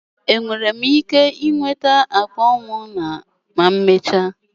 Enwere m ike nweta akpa ụmụnna m ma emechaa?